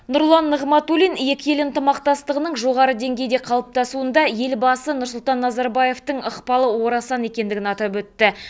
нұрлан нығматулин екі ел ынтымақтастығының жоғары деңгейде қалыптасуында елбасы нұрсұлтан назарбаевтың ықпалы орасан екендігін атап өтті